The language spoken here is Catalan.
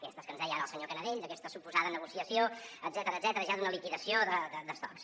aquestes que ens deia ara el senyor canadell d’aquesta suposada negociació etcètera etcètera ja d’una liquidació d’estocs